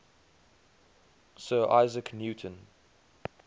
sir isaac newton